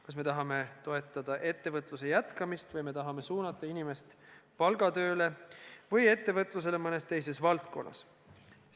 Kas me tahame toetada ettevõtluse jätkamist või me tahame suunata inimest palgatööle või ettevõtlusele mõnes teises valdkonnas?